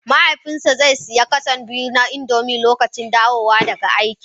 mahaifina zai sayi cartoon guda biyu na indomie lokacin dawowa daga aiki